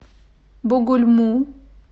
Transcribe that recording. бугульму